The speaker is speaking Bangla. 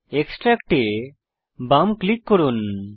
এক্সট্রাক্ট এ বাম ক্লিক করুন